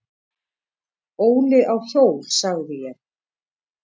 """Óli á hjól, sagði ég."""